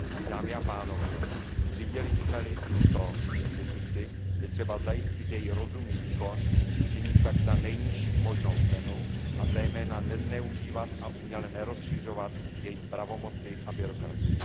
Dámy a pánové, jestliže jsme zřídili tuto instituci, je třeba zajistit její rozumný výkon, činit tak za nejnižší možnou cenu a zejména nezneužívat a uměle nerozšiřovat její pravomoci a byrokracii.